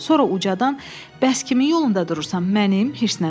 Sonra ucadan: bəs kimi yolunda durursan, mənim, hiddətlə dedi.